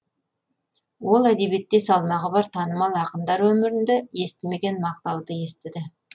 ол әдебиетте салмағы бар танымал ақындар өмірінде естімеген мақтауды естіді